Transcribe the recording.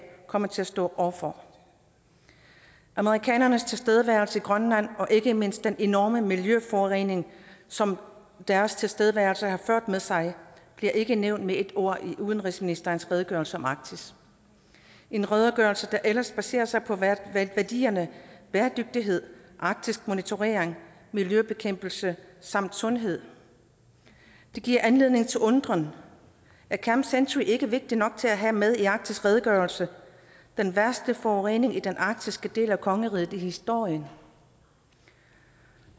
kommer til at stå over for amerikanernes tilstedeværelse i grønland og ikke mindst den enorme miljøforurening som deres tilstedeværelse har ført med sig bliver ikke nævnt med et ord i udenrigsministerens redegørelse om arktis en redegørelse der ellers baserer sig på værdierne bæredygtighed arktismonitorering miljøbekæmpelse samt sundhed det giver anledning til undren er camp century ikke vigtig nok til at have med i arktisredegørelsen den værste forurening i den arktiske del af kongeriget i historien